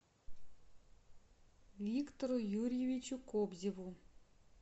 виктору юрьевичу кобзеву